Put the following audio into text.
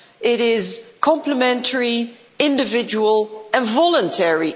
It is complementary, individual and voluntary.